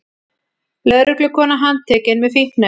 Lögreglukona handtekin með fíkniefni